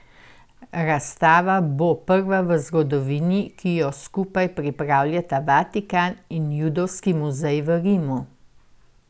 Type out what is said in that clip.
Razstava bo prva v zgodovini, ki jo skupaj pripravljata Vatikan in Judovski muzej v Rimu.